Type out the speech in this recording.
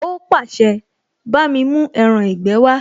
Ó pàṣẹ, bámi mú ẹran ìgbé wá!